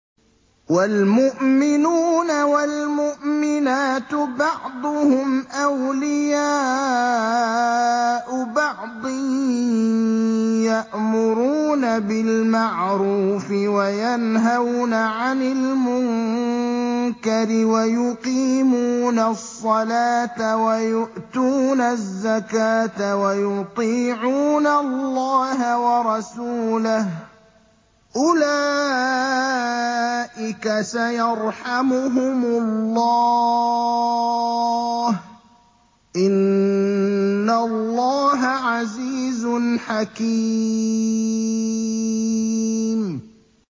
وَالْمُؤْمِنُونَ وَالْمُؤْمِنَاتُ بَعْضُهُمْ أَوْلِيَاءُ بَعْضٍ ۚ يَأْمُرُونَ بِالْمَعْرُوفِ وَيَنْهَوْنَ عَنِ الْمُنكَرِ وَيُقِيمُونَ الصَّلَاةَ وَيُؤْتُونَ الزَّكَاةَ وَيُطِيعُونَ اللَّهَ وَرَسُولَهُ ۚ أُولَٰئِكَ سَيَرْحَمُهُمُ اللَّهُ ۗ إِنَّ اللَّهَ عَزِيزٌ حَكِيمٌ